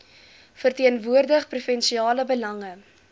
verteenwoordig provinsiale belange